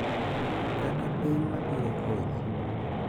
Kata piny ma biro konyi.